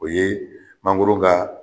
O ye mangoro ka